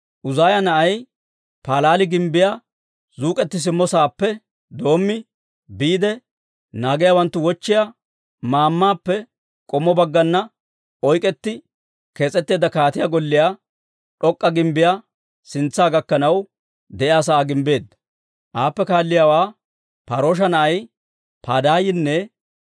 Uzaaya na'ay Paalaali gimbbiyaa zuuk'eti simmo saappe doommi, biide naagiyaawanttu wochchiyaa maammaappe k'ommo baggana oyk'k'etti kees'eteedda kaatiyaa golliyaa d'ok'k'a gimbbiyaa sintsa gakkanaw de'iyaa sa'aa gimbbeedda. Aappe kaalliyaawaa Par"oosha na'ay Padaayinne